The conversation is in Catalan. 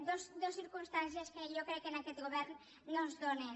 dues circumstàncies que jo crec que en aquest govern no es donen